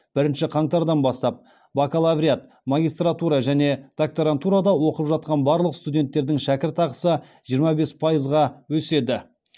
бірінші қаңтардан бастап бакалавриат магистратура және докторантурада оқып жатқан барлық студенттердің шәкіртақысы жиырма бес пайызға өседі